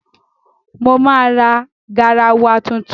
Mo máa ra garawa tuntun.